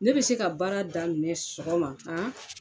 Ne bɛ se ka baara daminɛ sɔgɔma han